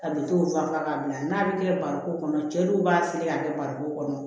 A bɛ t'o fan fɛ k'a bila n'a bɛ kɛ barikon kɔnɔ cɛ dɔw b'a siri k'a kɛ barikon kɔnɔ